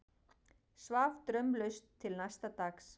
Svaf draumlaust til næsta dags.